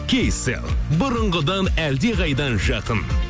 кейселл бұрынғыдан әлдеқайда жақын